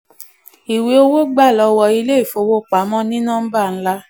ìwé owó gbà lọ́wọ́ ilé-ìfowópamọ́ ní nọ́mbà ńlá